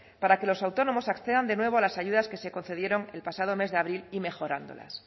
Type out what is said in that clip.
para que los autónomos accedan de nuevo a las ayudas que se concedieron el pasado mes de abril y mejorándolas